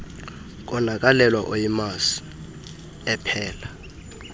konakalelwa uyimazi ephala